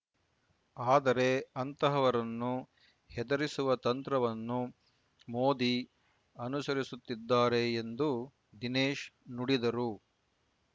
ಆದರೆ ಅಂತಹವರನ್ನು ಹೆದರಿಸುವ ತಂತ್ರವನ್ನು ಮೋದಿ ಅನುಸರಿಸುತ್ತಿದ್ದಾರೆ ಎಂದು ದಿನೇಶ್ ನುಡಿದರು